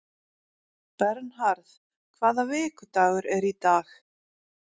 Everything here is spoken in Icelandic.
Bernharð, hvaða vikudagur er í dag?